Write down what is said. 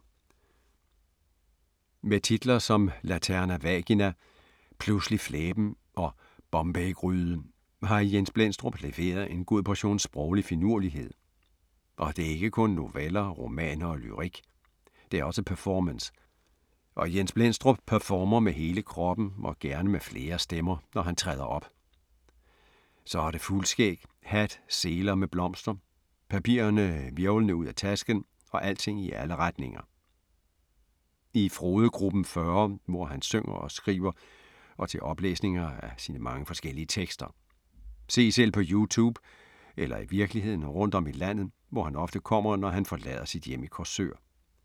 Med titler som Laterna vagina, Pludselig flæben og Bombaygryde har Jens Blendstrup leveret en god portion sproglig finurlighed. Og det er ikke kun noveller, romaner og lyrik. Det er også performance. Og Jens Blendstrup performer med hele kroppen og gerne med flere stemmer, når han træder op. Så er det fuldskæg, hat, seler med blomster, papirerne hvirvlende ud af tasken og alting i alle retninger. I Frodegruppen 40, hvor han synger og skriver og til oplæsninger af sine mange og forskellige tekster. Se selv på Youtube eller i virkeligheden rundt om i landet, hvor han ofte kommer, når han forlader sit hjem i Korsør.